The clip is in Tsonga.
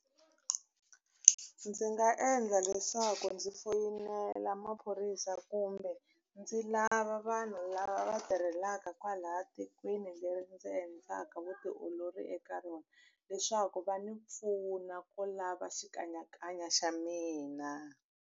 Ndzi nga endla leswaku ndzi foyinela maphorisa kumbe ndzi lava vanhu lava va tirhelaka kwalaya tikweni leri ndzi endlaka vutiolori eka rona leswaku va ndzi pfuna ku lava xikanyakanya xa mina.